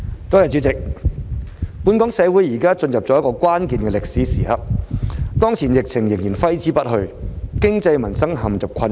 代理主席，本港社會現正進入一個關鍵的歷史時刻，當前疫情仍然揮之不去，經濟民生陷入困境。